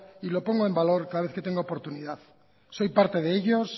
y lo pongo en valor cada vez que tengo oportunidad soy parte de ellos